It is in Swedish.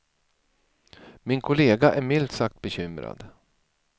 Min kollega är milt sagt bekymrad.